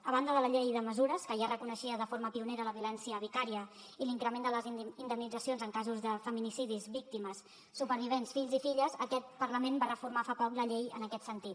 a banda de la llei de mesures que ja reconeixia de forma pionera la violència vicària i l’increment de les indemnitzacions en casos de feminicidis víctimes supervivents fills i filles aquest parlament va reformar fa poc la llei en aquest sentit